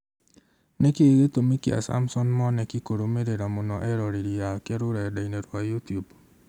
Nĩkĩĩ gĩtũmi kĩa Samson Mwanĩki kũrũmĩrĩra mũno eroreri ake rũrenda-inĩ rwa youtube